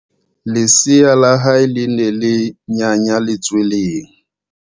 Lesea la hae le ne le nyanya letsweleng.